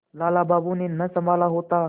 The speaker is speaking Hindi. लाला बाबू ने न सँभाला होता